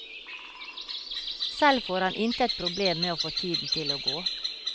Selv får han intet problem med å få tiden til å gå.